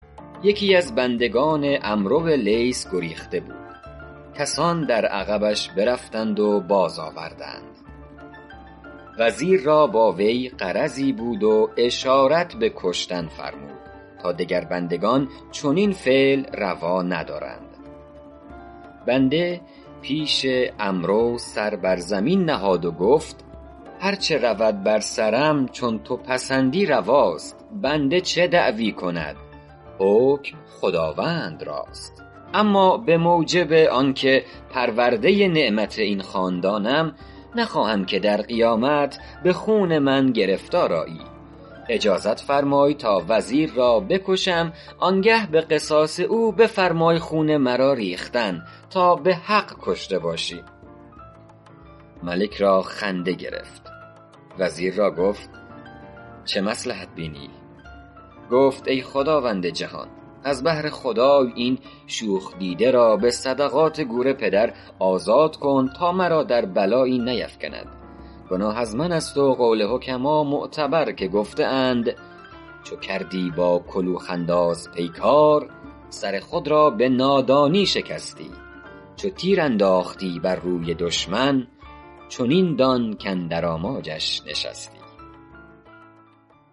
یکی از بندگان عمرو لیث گریخته بود کسان در عقبش برفتند و باز آوردند وزیر را با وی غرضی بود و اشارت به کشتن فرمود تا دگر بندگان چنین فعل روا ندارند بنده پیش عمرو سر بر زمین نهاد و گفت هر چه رود بر سرم چون تو پسندی رواست بنده چه دعوی کند حکم خداوند راست اما به موجب آن که پرورده نعمت این خاندانم نخواهم که در قیامت به خون من گرفتار آیی اجازت فرمای تا وزیر را بکشم آن گه به قصاص او بفرمای خون مرا ریختن تا به حق کشته باشی ملک را خنده گرفت وزیر را گفت چه مصلحت می بینی گفت ای خداوند جهان از بهر خدای این شوخ دیده را به صدقات گور پدر آزاد کن تا مرا در بلایی نیفکند گناه از من است و قول حکما معتبر که گفته اند چو کردی با کلوخ انداز پیکار سر خود را به نادانی شکستی چو تیر انداختی بر روی دشمن چنین دان کاندر آماجش نشستی